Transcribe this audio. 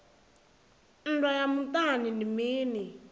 nndwa ya muṱani ndi mini